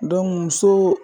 muso